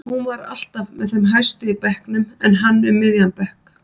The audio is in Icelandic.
Hún er alltaf með þeim hæstu í bekknum en hann um miðjan bekk.